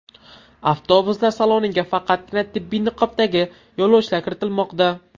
Avtobuslar saloniga faqatgina tibbiy niqobdagi yo‘lovchilar kiritilmoqda.